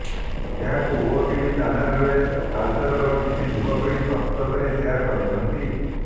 ଏହାକୁ ଓଏଟିଭି ଚ୍ୟାନେଲରେ ତାଲ୍ଚେରର କିଛି ଯୁବପିଢ଼ି ପ୍ରସ୍ତୁତ କରି ସେୟାର କରିଛନ୍ତି